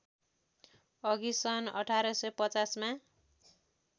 अघि सन् १८५० मा